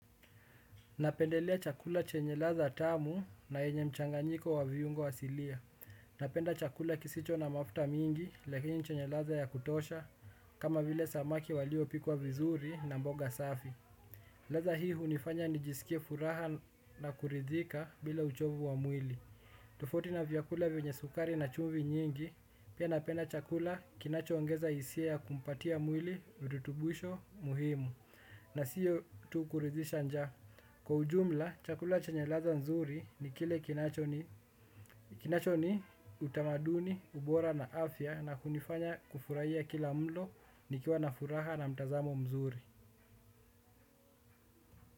Napendelea chakula chenye ladha tamu na enye mchanganyiko wa viungo asilia. Napenda chakula kisicho na mafta mingi, lakini chenye ladha ya kutosha, kama vile samaki walio pikuwa vizuri na mboga safi. Ladha hii unifanya nijisikie furaha na kurithika bila uchovu wa mwili. Tofauti na vyakula vyenye sukari na chumvi nyingi, pia napenda chakula kinachoongeza hisia kupatia mwili, virutubisho, muhimu. Na siyo tu kuridhisha njaa. Kwa ujumla, chakula chenye ladha nzuri ni kile kinacho ni utamaduni, ubora na afya na kunifanya kufurahia kila mlo nikiwa na furaha na mtazamo mzuri.